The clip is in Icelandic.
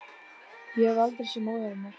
Ég hef aldrei séð móður hennar